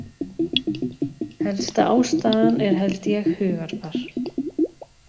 Helsta ástæðan er held ég hugarfar.